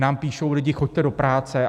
Nám píšou lidi: Choďte do práce!